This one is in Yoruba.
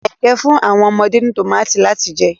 Ayinke n fun awọn ọmọde ni tomati lati jẹ